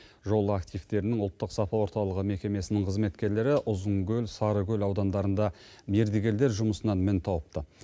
жол активтерінің ұлттық сапа орталығы мекемесінің қызметкерлері ұзынкөл сарыкөл аудандарында мердігерлер жұмысынан мін тауыпты